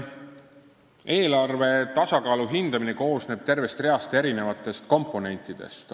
Eelarve tasakaalu hindamine koosneb tervest reast komponentidest.